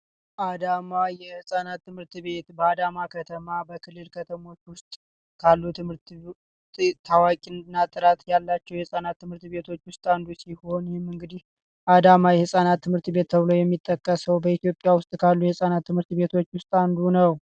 አዳማ የህፃናት ትምህርት ቤት፤ በአዳማ ከተማ በክልል ከተሞች ውስጥ ካሉ ታዋቂነት ያላቸው ትምህርት ቤቶች ውስጥ አንዱ ሲሆን የህፃናት ትምህርት ቤት ተብሎ የሚጠቀሰው በኢትዮጲያ ውስጥ ካሉ የህፃናት ትምህርት ቤቶች ውስጥ አንዱ ነው።